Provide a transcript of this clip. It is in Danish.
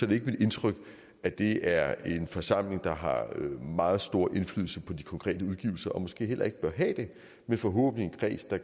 det ikke mit indtryk at det er en forsamling der har meget stor indflydelse på de konkrete udgivelser og måske heller ikke bør have det men forhåbentlig en kreds der